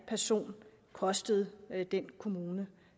person kostede den kommune